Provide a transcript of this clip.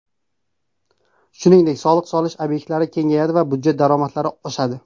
Shuningdek, soliq solish obyektlari kengayadi va budjet daromadlari oshadi.